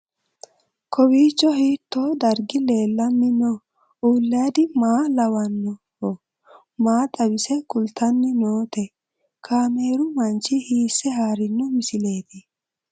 Kowiicho hiito dargi leellanni no ? ulayidi maa lawannoho ? maa xawisse kultanni noote ? kaameru manchi hiisse haarino misileeti?